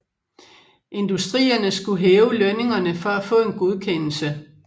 Industrierne skulle hæve lønningerne for at få en godkendelse